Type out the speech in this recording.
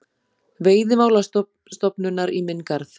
Veiðimálastofnunar í minn garð.